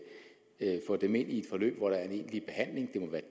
at få dem ind i et forløb hvor der er en egentlig behandling